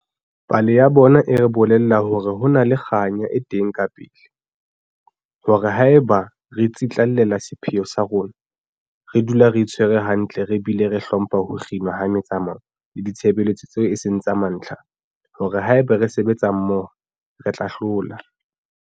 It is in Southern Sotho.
Pale ya bona e re bolella hore ho na le kganya e teng kapele, hore haeba re tsitlallela sepheo sa rona, re dula re itshwere hantle re bile re hlompha ho kginwa ha metsamao le ditshebeletso tseo e seng tsa mantlha, hore haeba re sebetsa mmoho, re tla hlola.